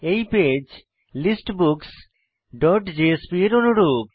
এই page listbooks dot JSP এর অনুরূপ